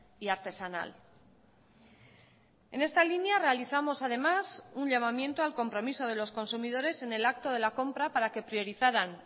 y artesanal en esta línea realizamos además un llamamiento al compromiso de los consumidores en el acto de la compra para que priorizaran